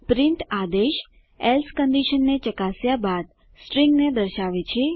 print આદેશ else કંડીશનને ચકાસ્યા બાદ સ્ટ્રીંગને દર્શાવે છે